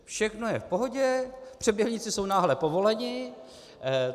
Všechno je v pohodě, přeběhlíci jsou náhle povoleni.